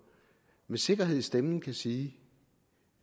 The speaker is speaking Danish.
med sikkerhed i stemmen kan sige